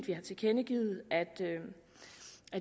vi har tilkendegivet at